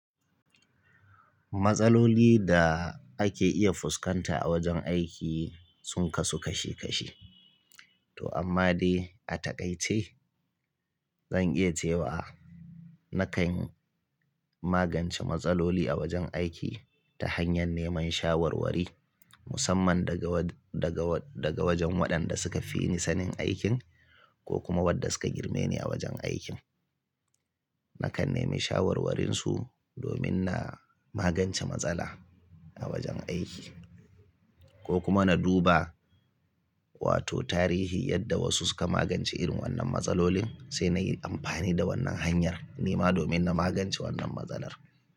Matsaloli da ake iya fuskanta a wajen aiki sun kasu kashe kashe. To amma dai a takaice zan iya cewa nakan magance matsaloli a wajen aiki ta hanyar neman shawarwari musamman daga wajen-wajen daga wajen-wayandaga wajen waɗanda suka fi ni sanin aikin ko kuma waɗda suka girme ni a wajen aikin. Nakan nemi shawarwarinsu domin na magance matsala a wajen aiki ko kuma na duba wato tarihi yadda wasu suka magance irin wannan matsalolin sai na yi amfani da wannan hanyar nema domin na magance wannan matsalar.